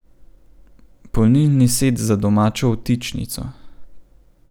Polnilni set za domačo vtičnico.